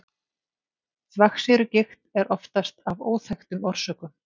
þvagsýrugigt er oftast af óþekktum orsökum